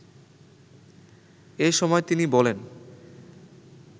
এসময় তিনি বলেন